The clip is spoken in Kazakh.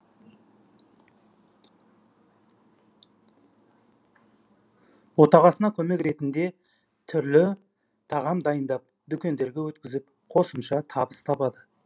отағасына көмек ретінде түрлі тағам дайындап дүкендерге өткізіп қосымша табыс табады